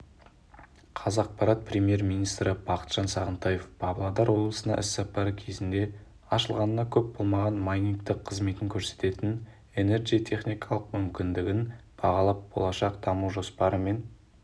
қазақпарат премьер-министрі бақытжан сағынтаев павлодар облысына іссапары кезінде ашылғанына көп болмаған майнингтік қызмет көрсететін энерджи техникалық мүмкіндігін бағалап болашақ даму жоспарымен